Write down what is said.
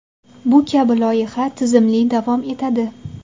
Bu kabi loyiha tizimli davom etadi.